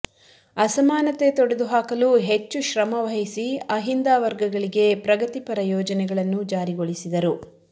ಅಸಮಾನತೆ ತೊಡೆದು ಹಾಕಲು ಹೆಚ್ಚು ಶ್ರಮ ವಹಿಸಿ ಅಹಿಂದ ವರ್ಗಗಳಿಗೆ ಪ್ರಗತಿಪರ ಯೋಜನೆಗಳನ್ನು ಜಾರಿಗೊಳಿಸಿದರು